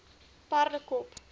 perdekop